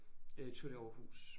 Øh tour de Aarhus